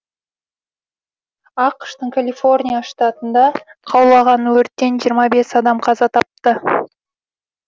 ақш тың калифорния штатында қаулаған өрттен жиырма бес адам қаза тапты